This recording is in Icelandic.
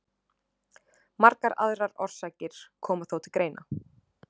margar aðrar orsakir koma þó til greina